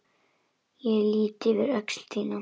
Ég lýt yfir öxl þína.